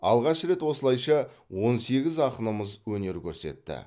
алғаш рет осылайша он сегіз ақынымыз өнер көрсетті